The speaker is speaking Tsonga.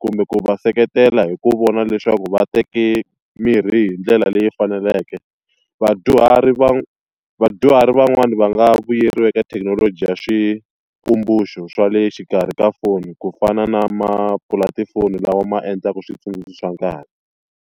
kumbe ku va seketela hi ku vona leswaku va teke mirhi hi ndlela leyi faneleke. Vadyuhari vadyuhari van'wani va nga vuyeriwi eka thekinoloji ya swa le xikarhi ka foni ku fana na maapula tifoni lawa ma endlaka switsundzuxo swa nkarhi.